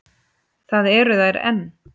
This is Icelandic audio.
Það eru þær enn.